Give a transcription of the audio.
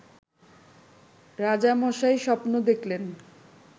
রাজামশাই স্বপ্ন দেখলেন